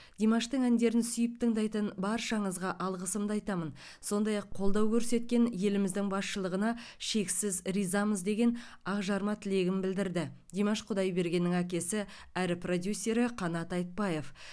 димаштың әндерін сүйіп тыңдайтын баршаңызға алғысымды айтамын сондай ақ қолдау көрсеткен еліміздің басшылығына шексіз ризамыз деген ақжарма тілегін білдірді димаш құдайбергеннің әкесі әрі продюсері қанат айтбаев